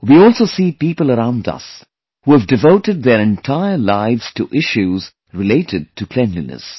We also see people around us who have devoted their entire lives to issues related to cleanliness